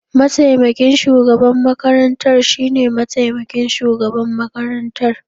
Mataimakin shugaban makarantar shine mataimakin shugaban makarantar.